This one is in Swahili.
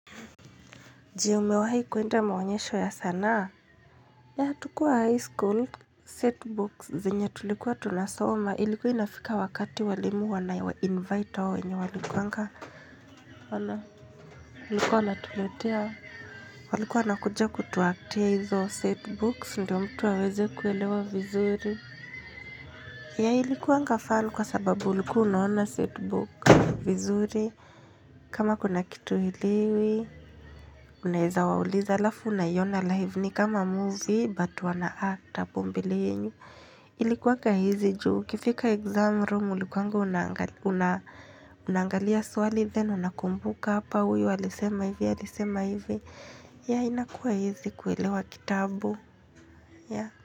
Je, umewahi kuenda maonyesho ya sanaa? Ya, tukiwa high school. Setbooks zenye tulikuwa tunasoma. Ilikuwa inafika wakati walimu wanawainvite hao wenye walikuanga. Wana, walikuwa wanatuletea. Walikuwa wanakuja kutuactia hizo setbooks. Ndo mtu aweze kuelewa vizuri. Ya, ilikuanga fun kwa sababu ulikuwa unaona setbook vizuri. Kama kuna kitu huelewi. Unaeza wauliza alafu unaiona live ni kama movie. Bat wanact hapo mbele yenu ilikuwaka easy juu ukifika exam room ulikuanga unaangalia swali then unakumbuka hapa huyu alisema hivi alisema hivi yeah inakuwa easy kuelewa kitabu.